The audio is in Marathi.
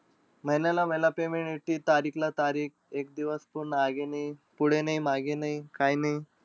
महिन्याला महिना payment येती. तारीखला-तारीख. एक दिवस पूर्ण आगी नाई. पुढे नाई, मागे नाई, काही नाई.